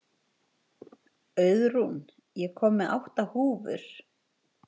Auðrún, ég kom með átta húfur!